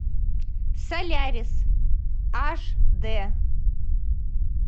солярис аш д